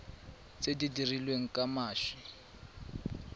tse di dirilweng ka mashi